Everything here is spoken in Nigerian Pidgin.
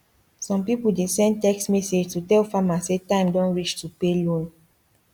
some people dey send text message to tell farmer say time don reach to pay loan